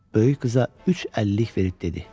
Böyük qıza üç əllik verib dedi: